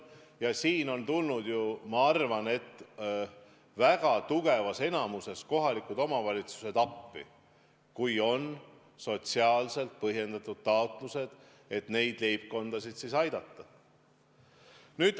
Aga siin on ju tulnud – ja ma arvan, et väga suures enamuses – kohalikud omavalitsused appi, kui on sotsiaalselt põhjendatud neid leibkondasid aidata.